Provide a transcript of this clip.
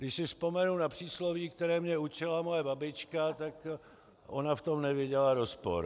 Když si vzpomenu na přísloví, které mě učila moje babička, tak ona v tom neviděla rozpor.